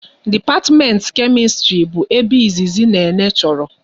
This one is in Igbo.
Dipatimenti Kemistri bụ ebe izizi Nene chọrọ